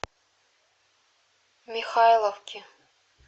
михайловки